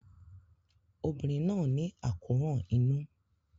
Obìnrin náà ní àkóràn inú.